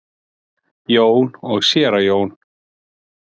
Jón og séra Jón